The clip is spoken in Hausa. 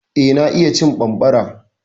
Eh, na iya cin bambara.